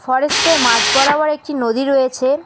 ফরেস্টের মাঝ বরাবর একটি নদী রয়েছে।